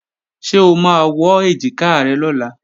Ṣé o máa wọ́ èjìká rẹ lọ́la?